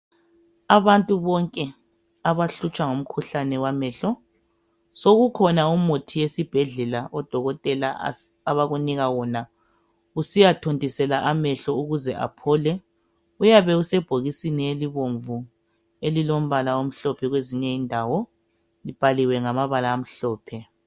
Abantu bonke abahlutshwa ngumkhuhlane wamehlo sokukhona umuthi esibhedlela odokotela abakunika wona usiyathontisela amehlo ukuze aphole uyabe usebhokisini elibomvu elilombala omhlophe kwezinye indawo libhaliwe ngamabala amhlophe.